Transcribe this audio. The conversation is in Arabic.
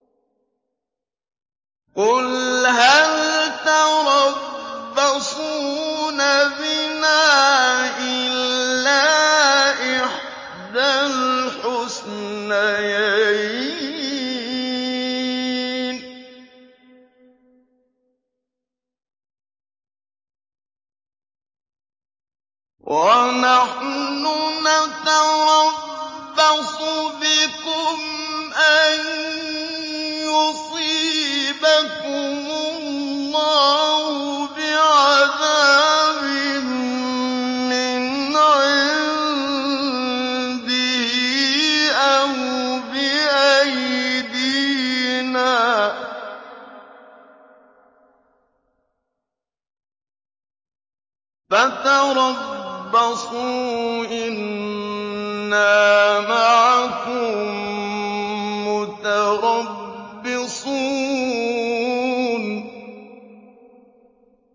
قُلْ هَلْ تَرَبَّصُونَ بِنَا إِلَّا إِحْدَى الْحُسْنَيَيْنِ ۖ وَنَحْنُ نَتَرَبَّصُ بِكُمْ أَن يُصِيبَكُمُ اللَّهُ بِعَذَابٍ مِّنْ عِندِهِ أَوْ بِأَيْدِينَا ۖ فَتَرَبَّصُوا إِنَّا مَعَكُم مُّتَرَبِّصُونَ